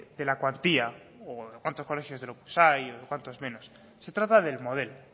de la cuantía o de cuantos colegios del opus hay o de cuantos menos se trata del modelo